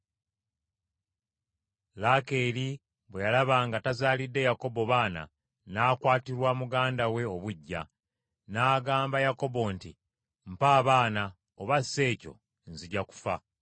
Laakeeri bwe yalaba nga tazaalidde Yakobo baana, n’akwatirwa muganda we obuggya; n’agamba Yakobo nti, “Mpa abaana oba si ekyo nzija kufa!”